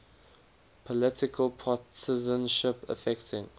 political partisanship affecting